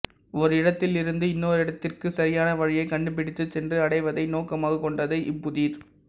ஒரு இடத்தில் இருந்து இன்னோரிடத்துக்குச் சரியான வழியைக் கண்டுபிடித்துச் சென்று அடைவதை நோக்கமாகக் கொண்டதே இப்புதிர்